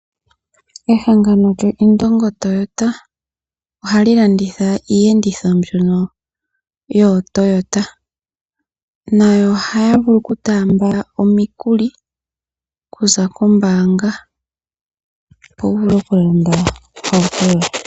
Ehangano lyo Indongo Toyota ohali landitha iyenditho mbyono yoToyota, nayo oha vulu okutamba omikuli okuza kombanga opo wuvule okulanda ohauto yoye.